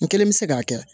N kelen bɛ se k'a kɛ